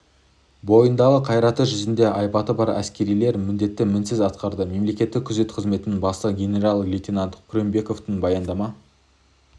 бойында қайраты жүзінде айбаты бар әскерилер міндетті мінсіз атқарды мемлекеттік күзет қызметінің бастығы генерал-лейтенат күреңбековке баяндама